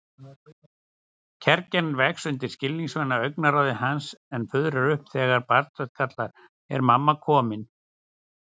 Kergjan vex undir skilningsvana augnaráði hans en fuðrar upp þegar barnsrödd kallar: Er mamma komin?